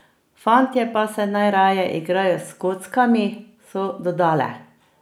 Fantje pa se najraje igrajo s kockami, so dodale.